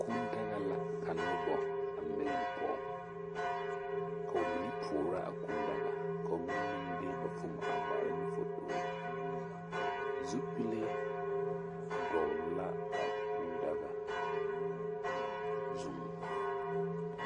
Kuu daga la ka noba a mileŋ pɔge ka ba mine toora a kuu daga ka ba mine de ba foomo ŋmaara ne fotore zupile dɔgle la a kuu daga zuŋ.